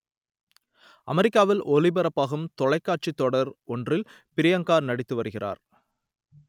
அமெரிக்காவில் ஒளிபரப்பாகும் தொலைக்காட்சி தொடர் ஒன்றில் ப்ரியங்கா நடித்து வருகிறார்